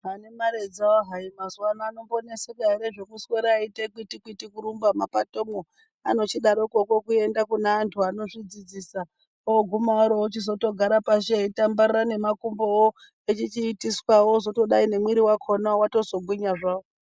Vane mare dzawo hai mazuwa ano vanombo oneka ere zvekuswera veite kwiti kwiti kurumba mumapatomwo anochidarokwo kuenda kune vantu vanozvidzidzisa oguma waro vochi zotogara pashi eitambarara nemakumbowo echichiitiswa wo ozotodai nemwiri wakhona watozogwinya zvawo.